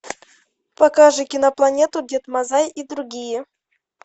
покажи кинопланету дед мазай и другие